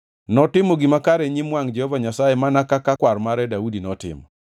Notimo gima kare e nyim wangʼ Jehova Nyasaye mana kaka kwar mare Daudi notimo.